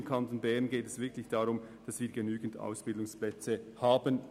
Im Kanton Bern geht es darum, genügend dezentral gelegene Ausbildungsplätze zu haben.